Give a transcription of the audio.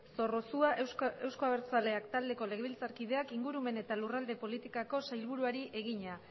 zorrozua euzko abertzaleak taldeko legebiltzarkideak ingurumen eta lurralde politikako sailburuari egina